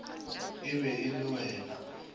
e be e le wena